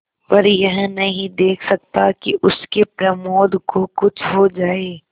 पर यह नहीं देख सकता कि उसके प्रमोद को कुछ हो जाए